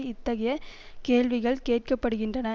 இத்தகைய கேள்விகள் கேட்கப்படுகின்றன